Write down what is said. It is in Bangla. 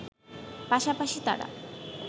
পাশাপাশি তারা